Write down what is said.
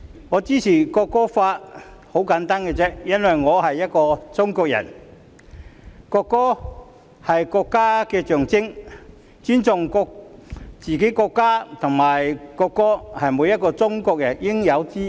我支持《條例草案》的理由十分簡單，因為我是中國人，國歌是國家的象徵，尊重自己國家和國歌是每個中國人應有之義。